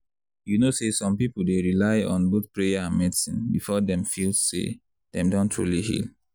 you know say some people dey rely on both prayer and medicine before dem feel say dem don truly heal.